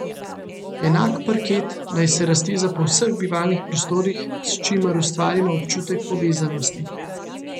Enak parket naj se razteza po vseh bivalnih prostorih, s čimer ustvarimo občutek povezanosti.